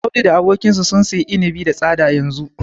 Audu da abokinsa sun siyi inibi da tsada yanzu.